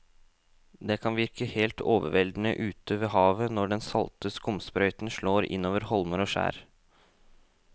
Det kan virke helt overveldende ute ved havet når den salte skumsprøyten slår innover holmer og skjær.